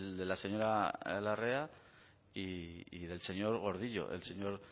de la señora larrea y del señor gordillo el señor